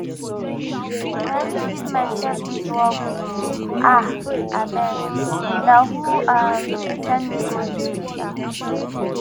na me give myself dis work ooo um abeg na who um send me go there um